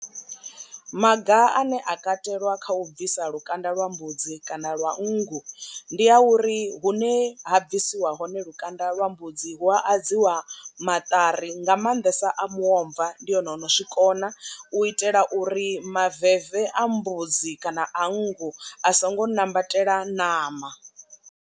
Maga ane a katelwa kha u bvisa lukanda lwa mbudzi kana lwa nngu ndi a uri hune ha bvisiwa hone lukanda lwa mbudzi hu a adziwa maṱari nga maanḓesa a muomva ndi one ono zwikona u itela uri maveve a mbudzi kana a nngu a songo nambatela ṋama.